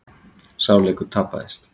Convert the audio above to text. Sá leikur tapaðist.